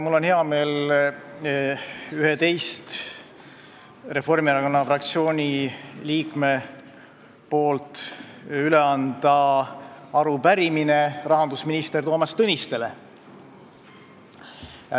Mul on hea meel anda Reformierakonna fraktsiooni 11 liikme nimel üle arupärimine rahandusminister Toomas Tõnistele.